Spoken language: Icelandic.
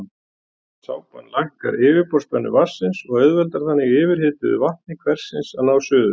sápan lækkar yfirborðsspennu vatnsins og auðveldar þannig yfirhituðu vatni hversins að ná suðu